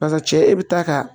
Barisa cɛ e bi taa ka